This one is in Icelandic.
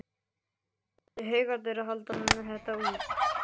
Ætli Haukarnir haldi þetta út?